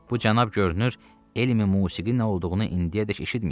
Bu cənab görünür, elmi musiqi nə olduğunu indiyədək eşitməyib.